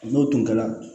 N'o tun kɛra